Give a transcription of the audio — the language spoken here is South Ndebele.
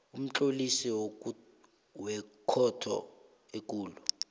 umtlolisi wekhotho ekulu